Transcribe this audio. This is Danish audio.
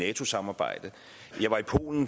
efter sommerferien kan